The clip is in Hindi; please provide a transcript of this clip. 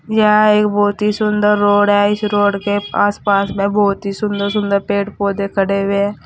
यह एक बहुत ही सुंदर रोड है इस रोड के आस पास में बहुत सी सुंदर सुंदर पेड़ पौधे खड़े हुए है।